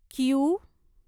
Q